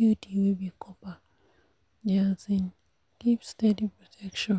iud wey be copper dey um give steady protection